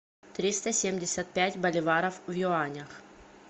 триста семьдесят пять боливаров в юанях